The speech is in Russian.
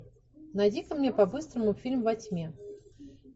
найди ка мне по быстрому фильм во тьме